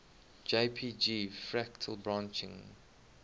jpg fractal branching